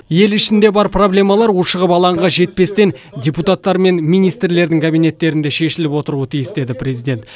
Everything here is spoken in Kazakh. ел ішінде бар проблемалар ушығып алаңға жетпестен депутаттар мен министрлердің кабинеттерінде шешіліп отыруы тиіс деді президент